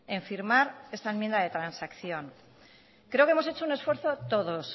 en firmar esta enmienda de transacción creo que hemos hecho un esfuerzo todos